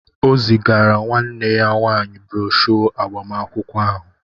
O zigara nwanne ya nwanyị broshọ agbamakwụkwọ ahụ